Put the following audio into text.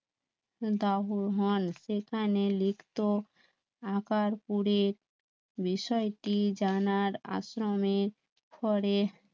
সেখানে লিখত আকার পুরীর বিষয়টি জানার আশ্রমের